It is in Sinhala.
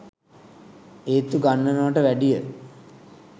ඒත්තු ගන්නනවට වැඩිය.